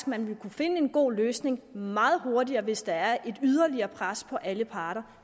man vil kunne finde en god løsning meget hurtigere hvis der er et yderligere pres på alle parter